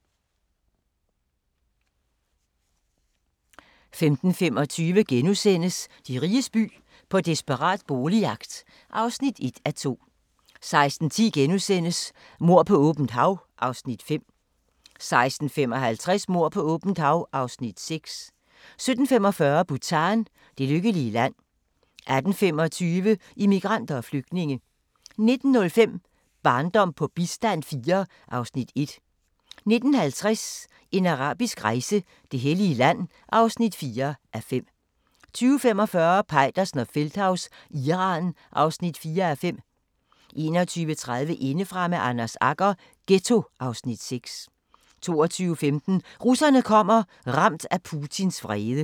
15:25: De riges by - på desperat boligjagt (1:2)* 16:10: Mord på åbent hav (Afs. 5)* 16:55: Mord på åbent hav (Afs. 6) 17:45: Bhutan: Det lykkelige land 18:25: Immigranter og flygtninge 19:05: Barndom på bistand IV (Afs. 1) 19:50: En arabisk rejse: Det hellige land (4:5) 20:45: Peitersen og Feldthaus – Iran (4:5) 21:30: Indefra med Anders Agger – Ghetto (Afs. 6) 22:15: Russerne kommer – ramt af Putins vrede